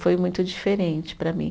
Foi muito diferente para mim.